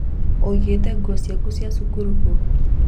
ũigĩte nguo ciaku cia cukuru kũ?